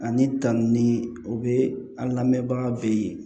Ani tan ni o bɛ an lamɛnbaga be yen